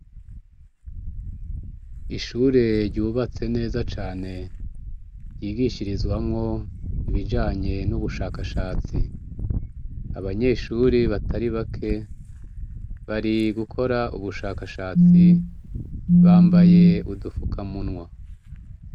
Ishure ryubatse neza cane ryigishirizwamo ibijanye n'ubushakashatsi. Abanyeshuri batari bake bari gukora ubushakashatsi bambaye udufukamunwa.